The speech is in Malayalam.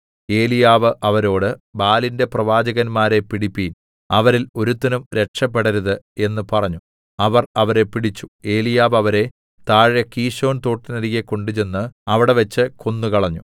ഏലീയാവ് അവരോട് ബാലിന്റെ പ്രവാചകന്മാരെ പിടിപ്പിൻ അവരിൽ ഒരുത്തനും രക്ഷപെടരുത് എന്ന് പറഞ്ഞു അവർ അവരെ പിടിച്ചു ഏലീയാവ് അവരെ താഴെ കീശോൻ തോട്ടിനരികെ കൊണ്ടുചെന്ന് അവിടെവെച്ച് കൊന്നുകളഞ്ഞു